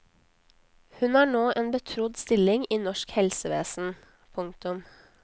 Hun har nå en betrodd stilling i norsk helsevesen. punktum